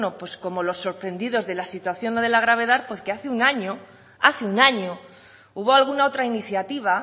como los sorprendidos de la situación o de la gravedad porque hace un año hace un año hubo alguna otra iniciativa